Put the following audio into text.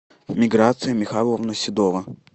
миграция михайловна седова